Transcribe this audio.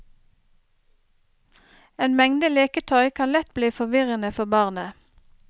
En mengde leketøy kan lett bli forvirrende for barnet.